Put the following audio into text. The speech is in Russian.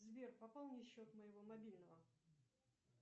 сбер пополни счет моего мобильного